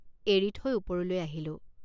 এৰি থৈ ওপৰলৈ আহিলোঁ।